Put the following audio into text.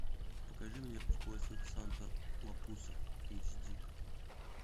покажи мне в поисках санта лапуса эйч ди